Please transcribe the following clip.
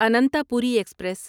Ananthapuri express